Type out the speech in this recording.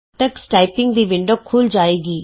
Tux typing ਦੀ window ਖੁੱਲ੍ਹ ਜਾਏਗੀ